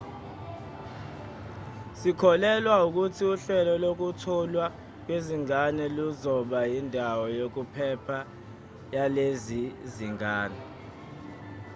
sikholelwa ukuthi uhlelo lokutholwa kwezingane luzoba yindawo yokuphepha yalezi zingane